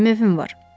Mənim evim var.